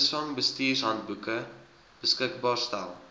visvangsbestuurshandboeke beskikbaar stel